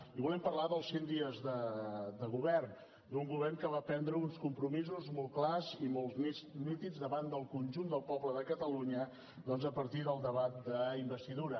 i volem parlar dels cent dies de govern d’un govern que va prendre uns compromisos molt clars i molt nítids davant del conjunt del poble de catalunya doncs a partir del debat d’investidura